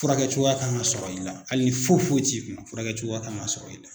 Furakɛcogoya kan ka sɔrɔ i la hali ni foyi foyi t'i kun furakɛcogoya kan ka sɔrɔ i la.